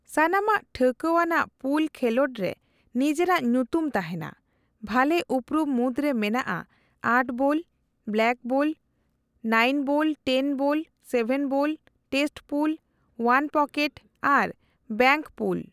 ᱥᱟᱱᱟᱢᱟᱜ ᱴᱷᱟᱹᱣᱠᱟ ᱟᱱᱟᱜ ᱯᱩᱞ ᱠᱷᱮᱞᱳᱰ ᱨᱮ ᱱᱤᱡᱮᱨᱟᱜ ᱧᱩᱛᱩᱢ ᱛᱟᱦᱮᱸᱱᱟ, ᱵᱷᱟᱞᱮ ᱩᱯᱨᱩᱢ ᱢᱩᱫᱽ ᱨᱮ ᱢᱮᱱᱟᱜ eight ball, blackball, nine ball, ten ball,, seven ball, test pool, one pocket ᱟᱨ ᱵᱮᱝᱠ ᱯᱩᱞ ᱾